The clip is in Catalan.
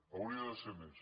hauria de ser més